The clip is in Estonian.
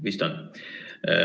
Vist on.